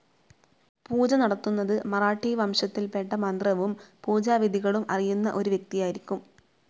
പൂജ നടത്തുന്നത് മറാഠി വംശത്തിൽപ്പെട്ട മന്ത്രവും പൂജാവിധികളും അറിയുന്ന ഒരു വ്യക്തിയായിരിക്കും.